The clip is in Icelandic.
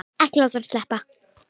Ekki láta hann sleppa!